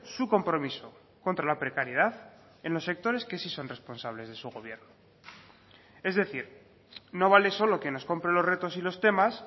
su compromiso contra la precariedad en los sectores que sí son responsables de su gobierno es decir no vale solo que nos compre los retos y los temas